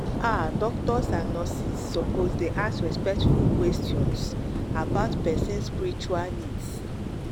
ah doctors and nurses suppose dey ask respectful questions about respectful questions about person spiritual needs.